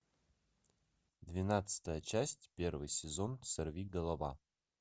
двенадцатая часть первый сезон сорвиголова